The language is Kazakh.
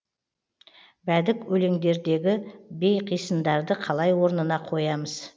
бәдік өлеңдердегі бейқисындарды қалай орнына қоямыз